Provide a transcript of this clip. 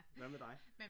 Hvad med dig?